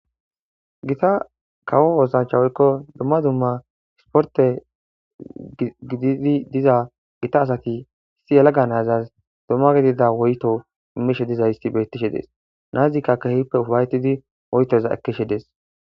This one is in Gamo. Giita kawo oththancha woykko dumma dumma ispporte gididi diza gitta asati issi yelaga na'azas woyyto immishe dizayssi bettishe dess na'azikka kehippe ufa'etidi woyytoza ekkishshe dess.